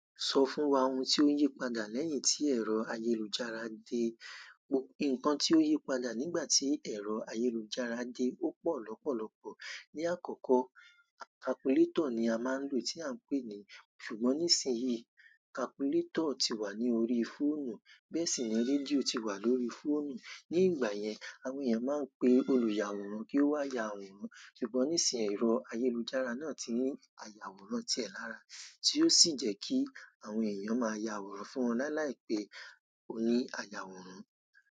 Sọ fún wa ohun tí ó yí padà lẹ́yìn tí ẹ̀rọ ayélujára dé. Nǹkan tí ó yí padà nígbà tí ẹ̀rọ ayélujára dé ó pọ̀ lọ́pọ̀lọ́pọ̀. Ni àkọ́kọ́, calculator ni a máa ń lò tí à ń pè é ní ṣùgbọ́n nísìnyí calculator ti wà ní orí fóònù. Bẹ́ẹ̀ sì ni rédíò ti wà lórí fóònù. Ni ìgbà yẹn, àwọn èèyàn máa ń pe olùyàwòrán kí ó wá yà wọ́n. Ṣùgbọ́n nísìnyí ẹ̀rọ ayélujára náà tí ní àyàwòrán tiẹ̀ lára tí ó sì jẹ́ kí àwọn èèyàn máa yàwòrán fún wọn lá la pè oní ayàwòrán.